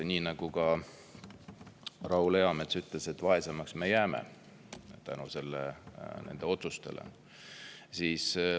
Nagu ka Raul Eamets ütles, me jääme vaesemaks nende otsuste tõttu.